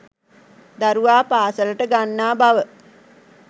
දරුවා පාසලට ගන්නා බව